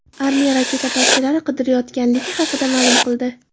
Armiya raketa parchalari qidirilayotganligi haqida ma’lum qildi.